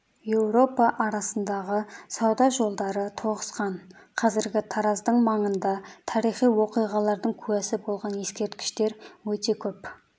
еуропа арасындағы сауда жолдары тоғысқан қазіргі тараздың маңында тарихи оқиғалардың куәсі болған ескерткіштер өте көп